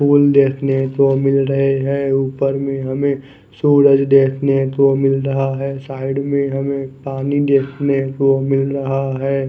फूल देखने को मिल रहे है ऊपर में हमे सूरज देखने को मिल रहा है साइड में हमे पानी देखने को मिल रहा है।